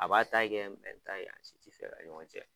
A b'a ta kɛ mɛ ta kɛ yan a si ti fɛ ka ɲɔgɔn tiɲɛ.